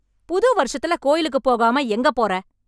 புது வருஷத்துல கோயிலுக்குப் போகாம எங்கப் போற?